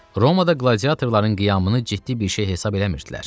Romada qladiatorların qiyamını ciddi bir şey hesab eləmirdilər.